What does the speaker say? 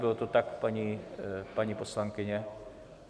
Bylo to tak, paní poslankyně?